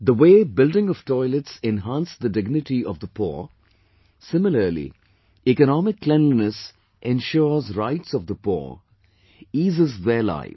The way building of toilets enhanced the dignity of poor, similarly economic cleanliness ensures rights of the poor; eases their life